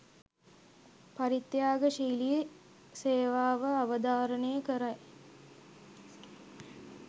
පරිත්‍යාගශීලී සේවාව අවධාරණය කරයි.